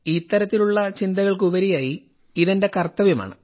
ഈ തരത്തിലുള്ള ചിന്തകൾക്കുപരിയായി ഇത് എന്റെ കർത്തവ്യമാണ്